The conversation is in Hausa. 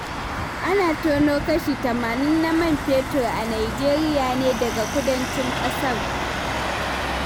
Ana tono kashi tamanin na man fetur a Nijeriya ne daga kudancin ƙasar.